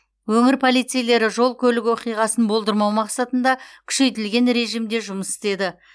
өңір полицейлері жол көлік оқиғасын болдырмау мақсатында күшейтілген режимде жұмыс істеді